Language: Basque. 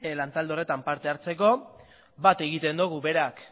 lantalde honetan parte hartzeko bat egiten dugu berak